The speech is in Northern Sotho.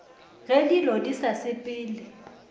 ge dilo di sa sepele